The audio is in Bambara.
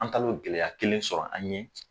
An taal'o gɛlɛya kelen sɔrɔ an ɲɛ